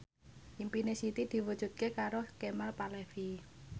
impine Siti diwujudke karo Kemal Palevi